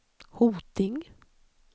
Hoting